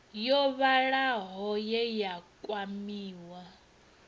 yo vhalaho ye ya kwamiwa